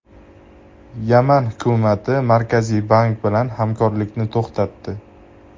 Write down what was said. Yaman hukumati Markaziy bank bilan hamkorlikni to‘xtatdi.